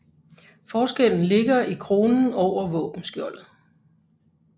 Forskellen ligger i kronen over våbenskjoldet